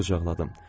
Onu qucaqladım.